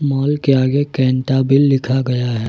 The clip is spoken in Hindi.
मॉल के आगे कैंटाबिल लिखा गया है।